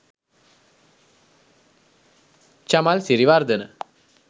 chamal siriwardana